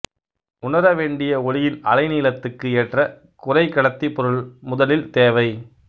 உணரவேண்டிய ஒளியின் அலைநீளத்துக்கு ஏற்ற குறைகடத்திப் பொருள் முதலில் தேவை